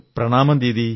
Pranamam Didi